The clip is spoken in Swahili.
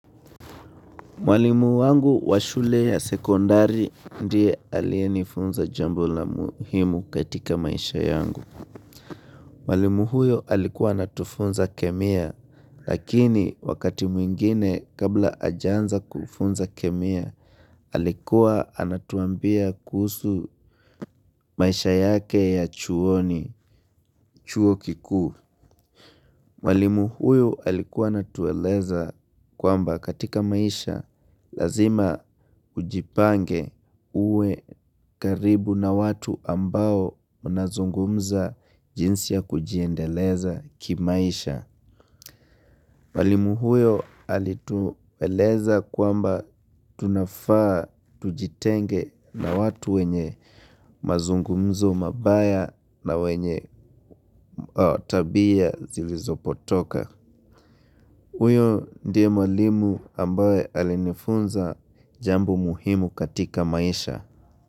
Mwalimu wangu wa shule ya sekondari ndiye aliyenifunza jambo la muhimu katika maisha yangu. Mwalimu huyo alikuwa anatufunza kemia lakini wakati mwingine kabla hajanza kufunza kemia alikuwa anatuambia kuhusu maisha yake ya chuoni chuo kikuu. Mwalimu huyu alikuwa anatueleza kwamba katika maisha lazima ujipange uwe karibu na watu ambao mnazungumza jinsi ya kujiendeleza kimaisha. Mwalimu huyo alitueleza kwamba tunafaa tujitenge na watu wenye mazungumzo mabaya na wenye tabia zilizopotoka. Huyo ndiye mwalimu ambaye alinifunza jambo muhimu katika maisha.